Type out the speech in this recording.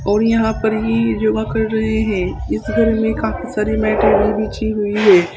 और यहां पर ही योगा कर रहे हैं इस रूम में काफी सारे मैटे भी बिछी हुए हैं।